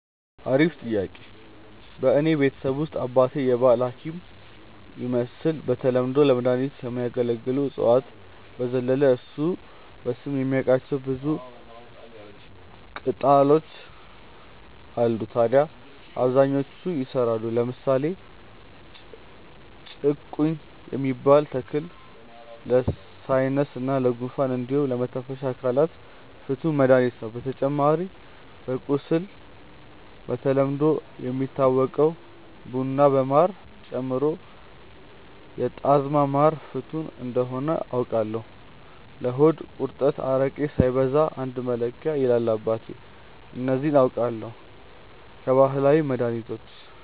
አሪፍ ጥያቄ፣ በእኔ ቤተሰብ ውስጥ አባቴ የባህል ሀኪም ይመስል በተለምዶ ለመድኃኒትነት ከሚያገለግሉ እፅዋት በዘለለ እሱ በስም የሚያቃቸው ብዙ ቅጣሎች አሉ ታድያ አብዛኞቹ ይሰራሉ። ለምሳሌ ጭቁኝ የሚባል ተክል ለሳይነስ እና ጉንፋን እንዲሁም ለመተንፈሻ አካላት ፍቱን መድሀኒት ነው። በተጨማሪ ለቁስል በተለምዶ የሚታወቀውን ቡና በማር ጨምሮ የጣዝማ ማር ፍቱን እንደሆነ አውቃለው። ለሆድ ቁርጠት አረቄ ሳይበዛ አንድ መለኪያ ይላል አባቴ። እነዚህ አውቃለው ከባህላዊ መድሀኒቶች።